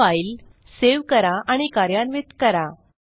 ही file save करा आणि कार्यान्वित करा